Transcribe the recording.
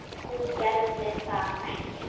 Hún gerði það ekki.